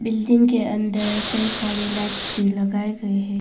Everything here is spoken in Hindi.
बिल्डिंग के अन्दर कई सारे लाइट्स भी लगाए गए हैं।